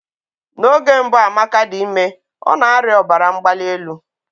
N'oge mbụ Amaka dị ime, ọ na-arịa ọbara mgbali elu.